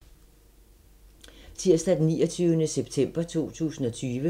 Tirsdag d. 29. september 2020